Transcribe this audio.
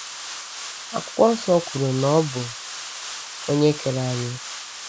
Akwụkwọ nso kwuru na ọ bụ Onye kere anyị.